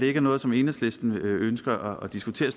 er noget som enhedslisten ønsker at diskutere